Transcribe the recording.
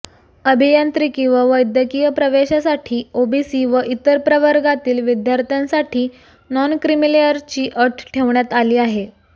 अभियांत्रिकी व वैद्यकीय प्रवेशासाठी ओबीसी व इतर प्रवर्गातील विद्यार्थ्यांसाठी नॉनक्रिमीलेअरची अट ठेवण्यात आली आहे